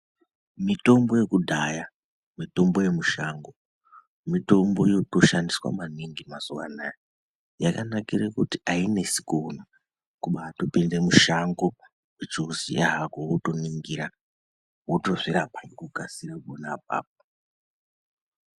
Mitombo yekudhaya mitombo yemishango mitombo yeiushandiswa maningi mazuva anawa yakanakira kuti ainesi kuona kupinda mushango uchiuzuva wotoningira wotozvirapa nekukasira.